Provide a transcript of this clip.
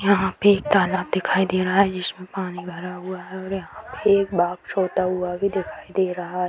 यहां पर एक तालाब दिखाई दे रहा है जिसमें पानी भरा हुआ है और यहां पे एक बाघ सोता हुआ भी दिखाई दे रहा है।